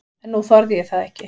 En nú þorði ég það ekki.